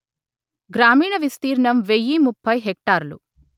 గ్రామీణ విస్తీర్ణం వెయ్యి ముప్పై హెక్టారులు